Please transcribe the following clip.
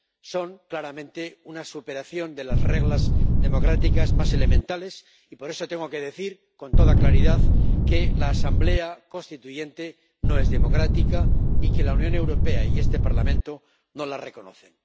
Son claramente una superación de las reglas democráticas más elementales, y por eso tengo que decir con toda claridad que la Asamblea Constituyente no es democrática y que la Unión Europea y este Parlamento no la reconocen.